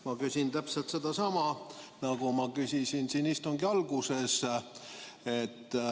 Ma küsin täpselt sedasama, mida ma küsisin siin istungi alguses.